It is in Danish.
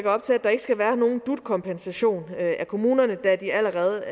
op til at der ikke skal være nogen dut kompensation af kommunerne da de allerede